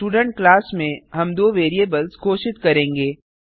student class में हम दो वैरिएबल्स घोषित करेंगे